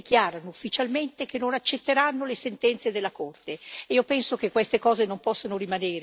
Però ci sono ancora paesi, come l'Ungheria, che dichiarano ufficialmente di non accettare le sentenze della Corte.